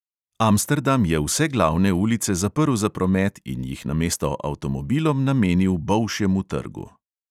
Amsterdam je vse glavne ulice zaprl za promet in jih namesto avtomobilom namenil bolšjemu trgu.